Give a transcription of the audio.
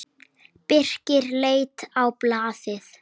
Birkir leit á blaðið.